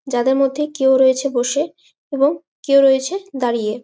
যাদের মধ্যে কেউ রয়েছে বসে এবং কেউ রয়েছে দাঁড়িয়ে।